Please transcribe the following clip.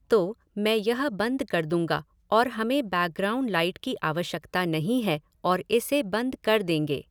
तो, मैं यह बंद कर दूंगा और हमें बैकग्राउंड लाइट की आवश्यकता नहीं है और इसे बंद कर देंगे।